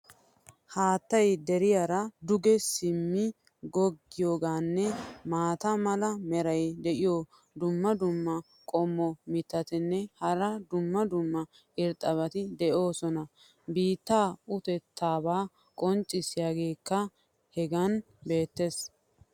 haattay deriyaara duge simmi gogiyaageenne maata mala meray diyo dumma dumma qommo mitattinne hara dumma dumma irxxabati de'oosona. biittaa utettaabaa qonccisiyaageekka hegan beetees.